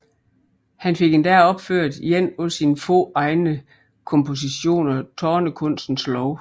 Her fik han endda opført en af sine få egne kompositioner Tonekunstens Lov